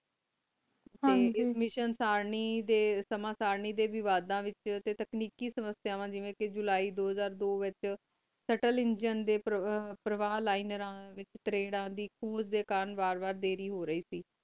ਹਨ ਜੀ ਇਸ ਮਿਸ਼ਿਓਂ ਸਰਨੀ ਡੀ ਸਮਾਂ ਸਾਰਣੀ ਡੀ ਵਾਦਾ ਵਿਚ ਟੀ ਤਕਨੀਕੀ ਸਮਾਸ੍ਯਾਵਾ ਜੀਵੀ ਜੁਲਾਈ ਦੋ ਹਜ਼ਾਰ ਦੋ ਵਿਚ ਸਟੂਲ ਏਨ੍ਗੀਨੇ ਡੀ ਪਰ ਪਰ੍ਵਾਲੇੰਰਾ ਵਿਚ ਤਾਰੇਯ੍ਰਾਂ ਦੀ ਖੂਜ ਡੀ ਚੁਣ ਵਾਲ ਵਾ ਵਾਡੀਰੀ ਹੋ ਰਹੀ ਕ